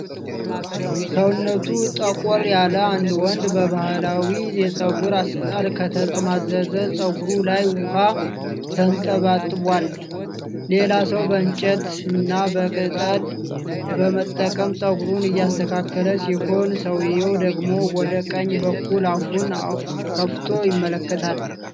ሰውነቱ ጠቆር ያለ አንድ ወንድ፣ በባህላዊ የፀጉር አሰራር ከተጠማዘዘ ፀጉሩ ላይ ውሃ ተንጠባጥቧል። ሌላ ሰው በእንጨትና በቅጠል በመጠቀም ፀጉሩን እያስተካከለ ሲሆን፣ ሰውየው ደግሞ ወደ ቀኝ በኩል አፉን ከፍቶ ይመለከታል።